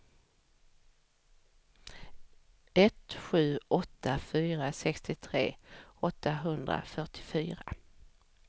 ett sju åtta fyra sextiotre åttahundrafyrtiofyra